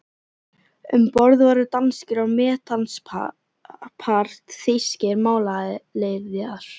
Um borð voru danskir og mestanpart þýskir málaliðar.